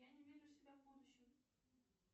я не вижу себя в будущем